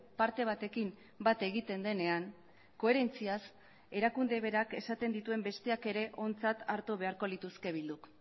parte batekin bat egiten denean koherentziaz erakunde berak esaten dituen besteak ere ontzat hartu beharko lituzke bilduk